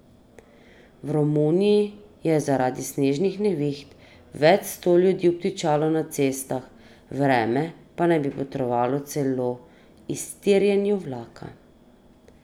V Romuniji je zaradi snežnih neviht več sto ljudi obtičalo na cestah, vreme naj bi botrovalo celo iztirjenju vlaka.